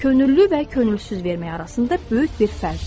Könüllü və könülsüz vermək arasında böyük bir fərq var.